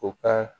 U ka